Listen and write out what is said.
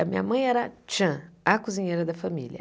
A minha mãe era tchan, a cozinheira da família.